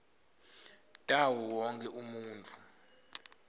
tawo wonkhe umuntfu